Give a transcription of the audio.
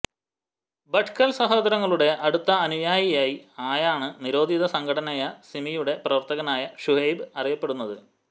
ഭട്കൽ സഹോദരങ്ങളുടെ അടുത്ത അനുയായി ആയാണ് നിരോധിത സംഘടനയായ സിമിയുടെ പ്രവർത്തകനായ ശുഹൈബ് അറിയപ്പെടുന്നത്